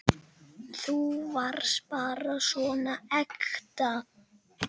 Þú varst bara svo ekta.